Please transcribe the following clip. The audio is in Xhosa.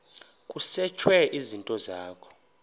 kusetshwe izinto zakho